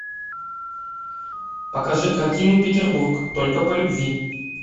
покажи картину петербург только по любви